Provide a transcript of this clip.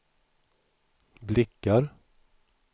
blickar